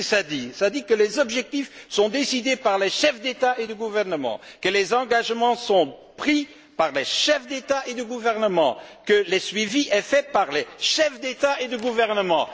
Et qu'est ce qu'il dit? Il dit que les objectifs sont décidés par les chefs d'État et de gouvernement, que les engagements sont pris par les chefs d'État et de gouvernement, que les suivis sont réalisés par les chefs d'État et de gouvernement.